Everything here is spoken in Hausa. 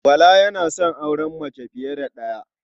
Bala yana son auren mace fiye da ɗaya.